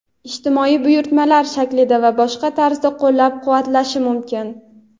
ijtimoiy buyurtmalar shaklida va boshqa tarzda qo‘llab-quvvatlashi mumkin.